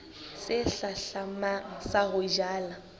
se hlahlamang sa ho jala